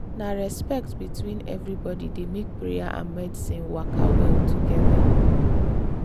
na respect between everybody dey make prayer and medicine waka well together.